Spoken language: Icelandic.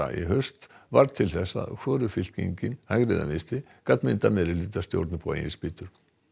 í haust varð til þess að hvorug fylkingin gat myndað meirihlutastjórn upp á eigin spýtur